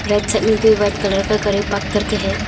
Right side में भी white colour का गाड़ी पार्क करके है।